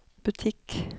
butikk